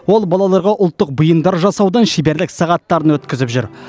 ол балаларға ұлттық бұйымдар жасаудан шеберлік сағаттарын өткізіп жүр